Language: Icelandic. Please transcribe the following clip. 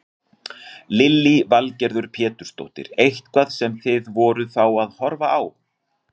Lillý Valgerður Pétursdóttir: Eitthvað sem þið voruð þá að horfa á?